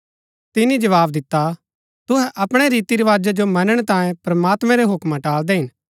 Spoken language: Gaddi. तिनी जवाव दिता तुहै अपणै रीति रवाजा जो मनणै तांयें प्रमात्मैं रै हूक्मा टालदै हिन